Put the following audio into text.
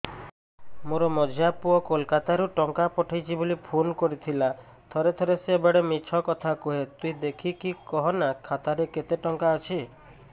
ମୋର ମଝିଆ ପୁଅ କୋଲକତା ରୁ ଟଙ୍କା ପଠେଇଚି ବୁଲି ଫୁନ କରିଥିଲା ଥରେ ଥରେ ସିଏ ବେଡେ ମିଛ କଥା କୁହେ ତୁଇ ଦେଖିକି କହନା ଖାତାରେ କେତ ଟଙ୍କା ଅଛି